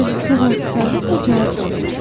Bəli, təvazökarlıqla cavab verdim.